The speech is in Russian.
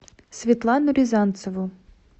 светлану рязанцеву